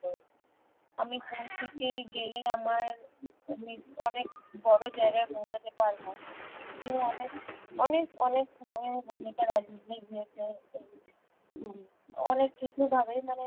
আমি কোনদিকে গেলে আমার আমি অনেক বড়ো জায়গায় পৌছাতে পারবো কেউ অনেক অনেক অনেক ভাবে ভূমিকা রাখবে হম অনেক কিছু ভাবেই